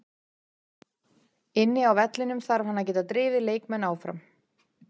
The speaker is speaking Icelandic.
Inni á vellinum þarf hann að geta drifið leikmenn áfram.